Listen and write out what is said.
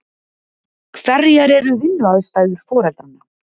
Hverjar eru vinnuaðstæður foreldranna?